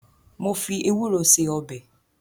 Mo fi ewúro ṣe ọbẹ̀